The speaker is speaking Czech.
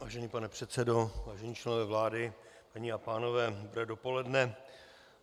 Vážený pane předsedo, vážení členové vlády, paní a pánové, dobré dopoledne.